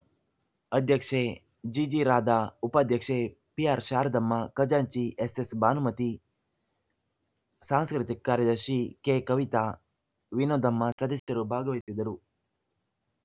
ಅಧ್ಯಕ್ಷೆ ಜಿ ಜಿರಾಧಾ ಉಪಾಧ್ಯಕ್ಷೆ ಪಿಆರ್‌ಶಾರದಮ್ಮ ಖಜಾಂಚಿ ಎಸ್ ಎಸ್‌ ಭಾನುಮತಿ ಸಾಂಸ್ಕೃತಿಕ ಕಾರ್ಯದರ್ಶಿ ಕೆಕವಿತಾ ವಿನೋದಮ್ಮ ಸದಸ್ಯರು ಭಾಗವಹಿಸಿದ್ದರು